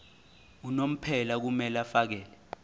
unomphela kumele afakele